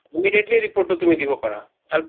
immediately report টো তুমি দিব পাৰা আৰু